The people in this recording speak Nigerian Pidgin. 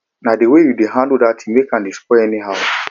na the way you dey handle dat thing make am dey spoil anyhow